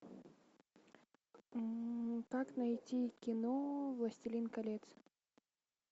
как найти кино властелин колец